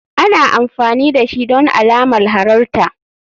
Ana amfani dashi don alamar halarta.